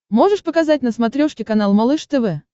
можешь показать на смотрешке канал малыш тв